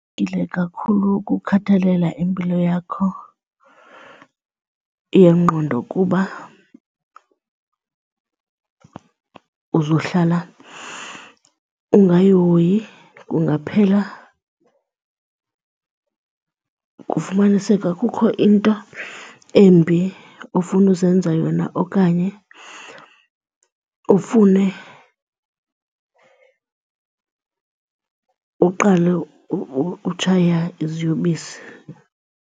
kakhulu ukukhathalela impilo yakho yengqondo kuba uzohlala ungayihoyi kungaphela kufumaniseke kukho into embi ofuna uzenza yona okanye ufune uqale utshaya iziyobisi.